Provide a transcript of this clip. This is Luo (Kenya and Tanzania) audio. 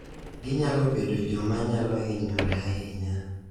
Ginyalo bedo joma nyalo hinyore ahinya